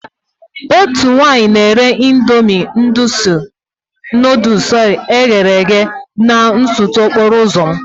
Otu nwaanyị na-ere Ịndomì nuduls e ghere eghe na nsọtụ okporo ụzọ m.